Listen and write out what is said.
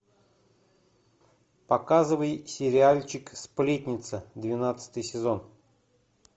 показывай сериальчик сплетница двенадцатый сезон